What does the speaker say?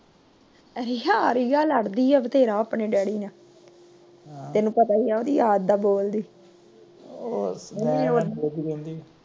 ਰੀਆਂ ਲੜਦੀ ਏ ਬਥੇਰਾ ਡੈਡੀ ਆਪਣੇ ਨਾਲ। ਤੈਨੂੰ ਪਤਾ ਏ ਆ ਓਹੰਦੀ ਆਦਤ ਦ ਬੋਲਦੀ।